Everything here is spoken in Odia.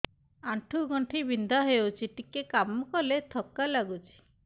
ଆଣ୍ଠୁ ଗଣ୍ଠି ବିନ୍ଧା ହେଉଛି ଟିକେ କାମ କଲେ ଥକ୍କା ଲାଗୁଚି